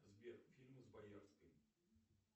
сбер фильмы с боярской